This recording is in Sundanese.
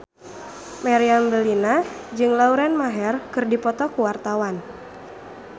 Meriam Bellina jeung Lauren Maher keur dipoto ku wartawan